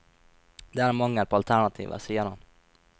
Det er en mangel på alternativer, sier han.